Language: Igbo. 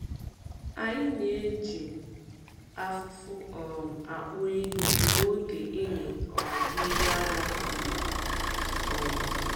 Anyị na-eji afụfụ um akpọ ehi mgbe oge ịmị um mmiri ara ruru. um